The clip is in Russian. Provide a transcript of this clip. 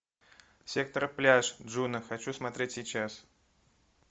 сектор пляж джуно хочу смотреть сейчас